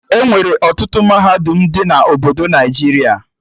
Enwere ọtụtụ mahadum dị na obodo Naijiria